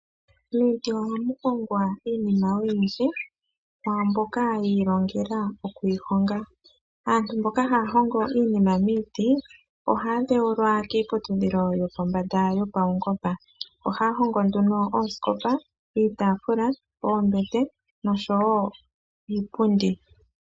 Miiti ohamu longwa iinima oyindji kwaamboka yiilongela oku yi honga. Aaantu mboka haya hongo iinima miiti, ohaya dhewulwa kiiputudhilo yopombada yopawungoba. ohaya hongo nduno ooskopa, iitaafula, oombete noshowoo iipundi.